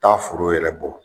Taa foro yɛrɛ bɔ